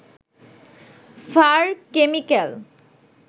fur chemical